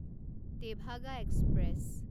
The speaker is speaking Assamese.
টেভাগা এক্সপ্ৰেছ